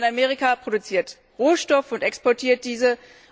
Lateinamerika produziert Rohstoffe und exportiert diese.